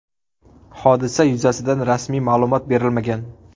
Hodisa yuzasidan rasmiy ma’lumot berilmagan.